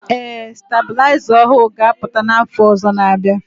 Ee STABỤLỊZA ỌHỤỤ GA APỤTA NA AFỌ ỌZỌ NA- ABỊA